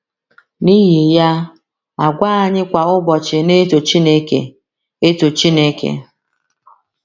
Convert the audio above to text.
N’ihi ya, àgwà anyị kwa ụbọchị na - eto Chineke - eto Chineke.